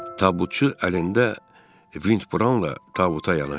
Tabutçu əlində vindbraunla tabuta yanaşdı.